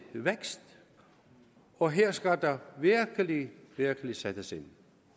vækst og her skal der virkelig virkelig sættes ind